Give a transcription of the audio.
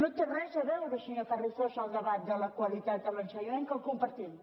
no hi té res a veure senyor carrizosa el debat de la qualitat a l’ensenyament que el compartim